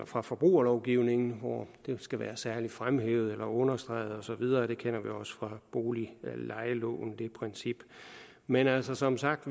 fra forbrugerlovgivningen hvor det skal være særlig fremhævet eller understreget og så videre det princip kender vi også fra boliglejeloven men altså som sagt